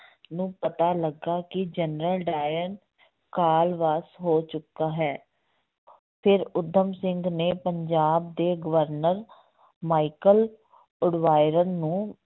ਨੂੰ ਪਤਾ ਲੱਗਾ ਕਿ ਜਨਰਲ ਡਾਇਰ ਕਾਲ ਵਾਸ ਹੋ ਚੁੱਕਾ ਹੈ ਫਿਰ ਊਧਮ ਸਿੰਘ ਨੇ ਪੰਜਾਬ ਦੇ ਗਵਰਨਰ ਮਾਈਕਲ ਉਡਵਾਇਰ ਨੂੰ